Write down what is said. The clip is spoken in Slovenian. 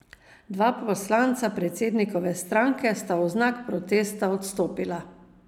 Dva poslanca predsednikove stranke sta v znak protesta odstopila.